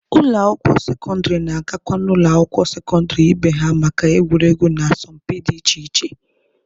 Ụlọ akwụkwọ sekọndịrị na-agakwa n'ụlọ akwụkwọ sekọndịrị ibe ha maka egwuregwu na asọmpi dị iche iche.